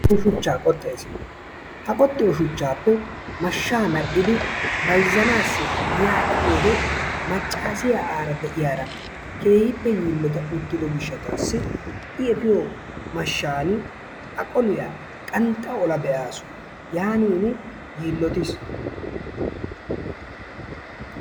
I shuuchchaa kooxxees. Ha qoxxiyoo shuchchappe mashshaa medhidi bayzzanaasi giyaa epiyoode maccaasiyaa ara de'iyaara keehippe yiillotada uttido gishshasi i efiyo mashshan a qoliyaa qanxxa ola be'aasu yaanin yillottiis.